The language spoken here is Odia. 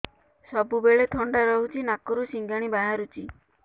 ସବୁବେଳେ ଥଣ୍ଡା ରହୁଛି ନାକରୁ ସିଙ୍ଗାଣି ବାହାରୁଚି